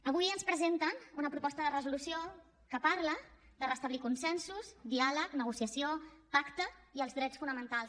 avui ens presenten una proposta de resolució que parla de restablir consensos diàleg negociació pacte i els drets fonamentals